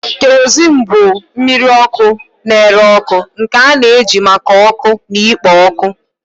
Kerosene bụ mmiri ọkụ na-ere ọkụ nke a na-eji maka ọkụ na ikpo ọkụ.